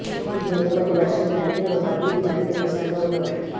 ఇది మునుపటి వెర్షన్ కంటే ఒక బిట్ మరింత క్లిష్టంగా ఉన్నప్పటికీ